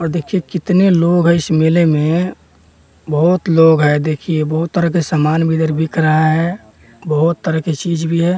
और देखिए कितने लोग है इस मेले में बहुत लोग है देखिए बहुत तरह के सामान भी इधर बिक रहा है बहुत तरह की चीज भी है --